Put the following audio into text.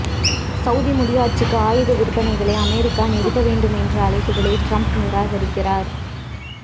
Saudi முடியாட்சிக்கு ஆயுத விற்பனைகளை அமெரிக்கா நிறுத்த வேண்டுமென்ற அழைப்புகளை ட்ரம்ப் நிராகரிக்கிறார்